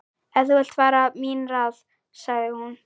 Ef þú vilt hafa mín ráð, sagði hún.